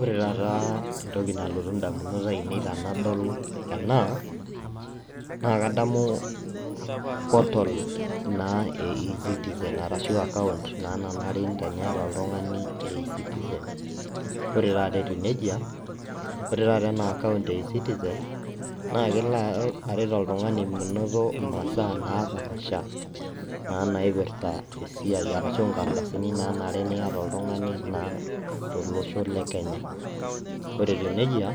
Ore taata entoki nalotu indamunot ainei tenadol ena, naa kadamu portal naa e e-citizen, arashu akaunt naa nanare teniata oltung'ani e e-citizen. Ore taata etiu nejia, ore taata ena akaunt e e-citizen, na kelo aret oltung'ani menoto imasaa napaasha, naa naipirta esiai arashu nkardasini nanare niata oltung'ani naa tolosho le Kenya. Ore etiu nejia,